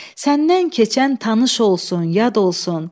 Səndən keçən tanış olsun, yad olsun.